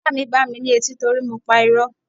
Ìyá mi gbá mi ní etí torí mo pa irọ́.